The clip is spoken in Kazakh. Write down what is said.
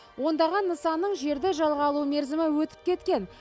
ондаған нысанның жерді жалға алу мерзімі өтіп кеткен